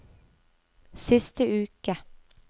siste uke